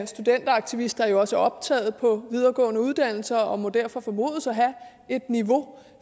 studenteraktivister er jo også optaget på videregående uddannelser og må derfor formodes at have et niveau